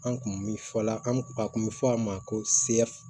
An kun mi fɔ la an kun a kun mi fɔ a ma ko